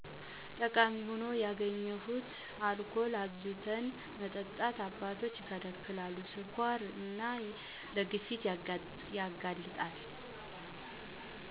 ጠቃሚ ሁኖ ያገኘሁት አልኮልን አብዝተን መጠጣት አባቶች ይከለከላሉ ለ ስኳር እና ለግፊት ያጋልጣል